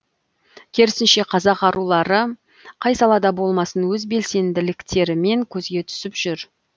керісінше қазақ арулары қай салада болмасын өз белсенділіктерімен көзге түсіп жүр